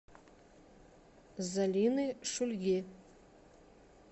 залины шульги